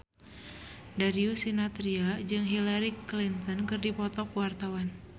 Darius Sinathrya jeung Hillary Clinton keur dipoto ku wartawan